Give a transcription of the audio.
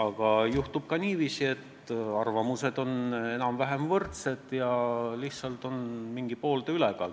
Aga juhtub ka niiviisi, et arvamused on enam-vähem võrdsed ja lihtsalt on mingi ühe või teise poole ülekaal.